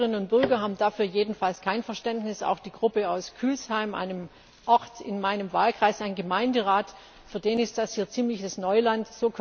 Die Bürgerinnen und Bürger haben dafür jedenfalls kein Verständnis, auch für die Gruppe aus Kühlsheim, einem Ort in meinem Wahlkreis, seinen Gemeinderat, ist das hier ziemliches Neuland.